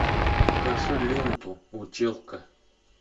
покажи ленту училка